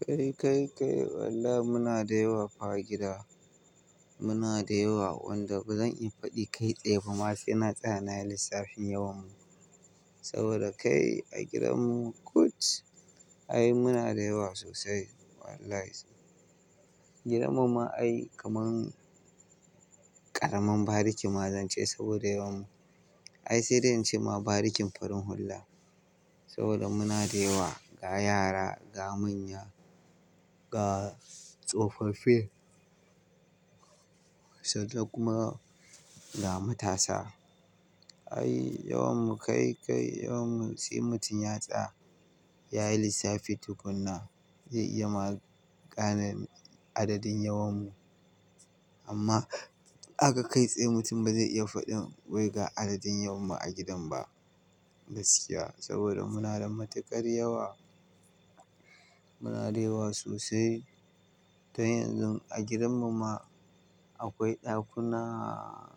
Kai, kai, kai wallahimuna da yawa fa a gida. Muna da yawa, wanda bazan iya faɗi kai tsaye ba. Ma sai na tsaya nayi lissafin yawan mu. Saboda kai a gidanmu kut. Ai muna da yawa sosai wallahi. Gidan mu ma ai kaman ƙaramin bariki ma zance saboda yawan mu. Ai sai dai in ce ma barikin farin hula. Saboda muna da yawa, ga yara, ga manya, ga tsofaffi sai dai kuma ga matasa. Ai yawan mu kai kai yawan mu sai mutum ya tsaya, yayi lissafi tukuna zai iya ma gane adadin yawan mu. Amma aka kai tsaye mutum ba zai iya faɗin wai ga adadin yawan mu a gidan ba gaskiya. Saboda muna da matuƙar yawa. Muna da yawa sosai. To yanzu a gidan mu ma akwai ɗakunaaa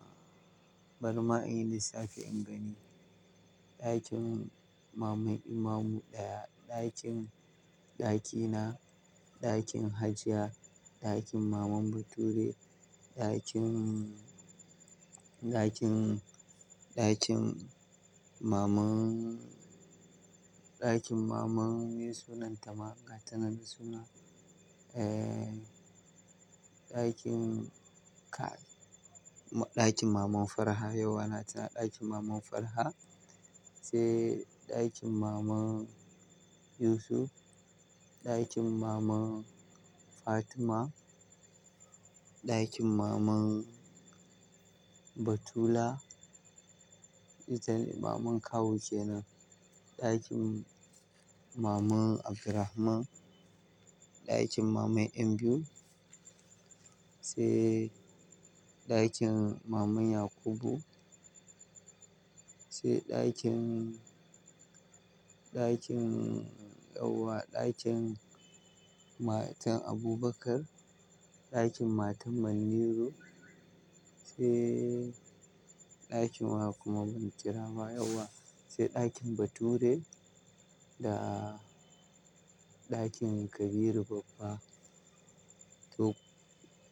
bari ma inyi lissafi in gani. Ɗakin Maman Imamu ɗaya, ɗakin ɗakina, ɗakin Hajiya, ɗakin Maman Bature, ɗakin, ɗakin, ɗakin maman, ɗakin maman me sunanta ma? Ga tana da suna. Eh, ɗakin ka-- ɗakin Maman Farha yau na tuna ɗakin Maman Farha. Sai ɗakin Maman Yusuf, ɗakin Maman Fatima, ɗakin Maman Batula. Itane Maman kawu kenan. Ɗakin Maman Abdurahman, ɗakin Maman ƴan biyun. Sai ɗakin Maman Yakubu. Sai ɗakin, ɗakin Yauwa, ɗakin Matan Abubakar, ɗakin Matan Manniru. Sai ɗakin wa kuma ban kira wa Yauwa. Sai ɗakin Bature da ɗakin Kabiru Baffa. To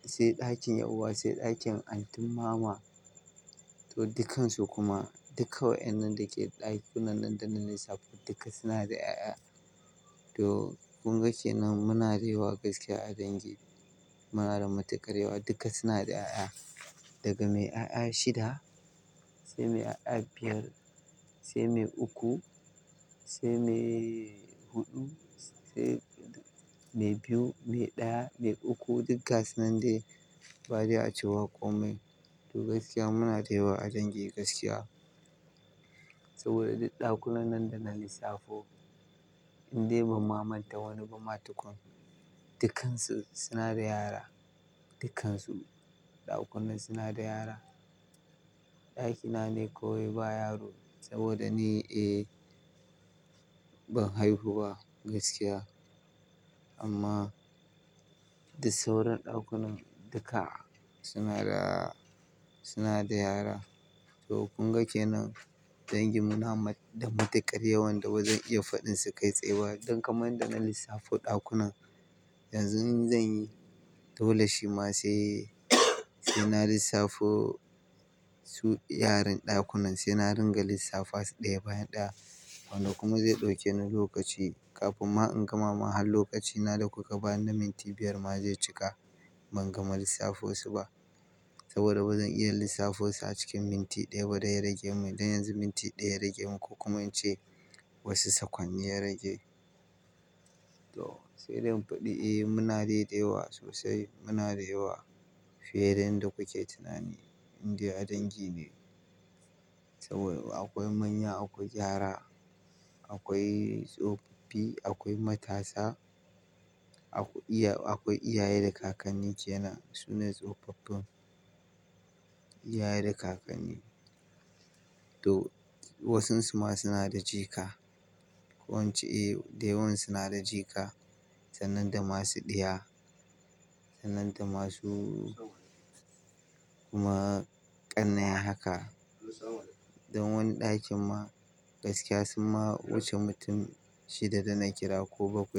sai ɗakin Yauwa, sai ɗakin Antin Mama. To dukkansu kuma duka waƴannan dake ɗakunan nan dana lissafo duka suna da 'ya'ya. To kun ga ke nan muna da yawa gaskiya a dangi. Muna da matuƙar yawa duka suna da 'ya'ya. Daga mai 'ya'ya shida sai mai 'ya'ya biyar sai mai uku sai mai huɗu sai mai biyu, mai ɗaya, mai uku duggaa sunan dai ba dai a cewa komai. To gaskiya muna da yawa a dangi gaskiya. Saboda duk ɗakunan nan dana lissafo in dai ban mamanta wani ba ma tukun, dukkansu suna da yara. Dukkansu ɗakunan suna da yara. Ɗakina ne kawai ba yaro saboda ni, eh ban haihu ba gaskiya. Amma duk sauran ɗakunan duka suna da, suna da yara. To kun ga ke nan dangin mu na matuƙar ya wanda bazan iya faɗin su kai tsaye ba. Don kamar yanda na lissafo ɗakunan yanzu in zanyi, dole shi ma sai ina lissafo su yaran ɗakunan. Sai na ringa lissafa su ɗaya bayan ɗaya. Wanda kuma zai ɗauke ni lokaci kafin ma in gama. Ma har lokacina da kuka bani na minti biyar ma zai cika ban gama lissafo su ba. Saboda bazan iya lissafo su a cikin minti ɗaya ba dai ya rage mani. Don yanzu minti ɗaya ya rage mun ko kuma in ce wasu sakwanne ya rage. To sai dai in faɗi eh muna dai, da yawa sosai. Muna da yawa fiye da yanda kuke tunani. Indai a dangi ne. Saboda akwai manya, akwai yara, akwai tsofaffi, akwai matasa, akwai iyaye da kakanni kenan. Su ne tsofaffin iyaye da kakanni. To wasansu ma suna da jika. Ko in ce eh da yawan suna da jika. Sanan da masu ɗiya, sanan da masu kuma ƙannai haka. Don wani ɗakin ma gaskiya sun ma wuce mutum shida dana kira ko bakwai.